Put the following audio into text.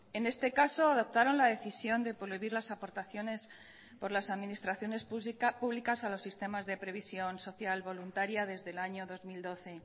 en este caso adoptaron la decisión de prohibir las aportaciones por las administraciones públicas a los sistemas de previsión social voluntaria desde el año dos mil doce